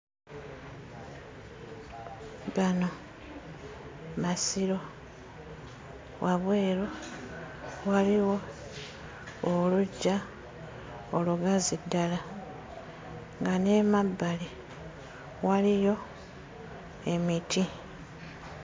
Gano masiro, wabweru waliwo oluggya olugazi ddala nga n'emabbali waliyo emiti